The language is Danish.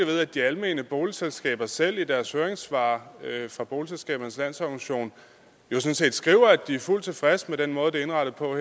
ved at de almene boligselskaber selv i deres høringssvar fra boligselskabernes landsorganisation sådan set skriver at de er fuldt tilfredse med den måde det er indrettet på og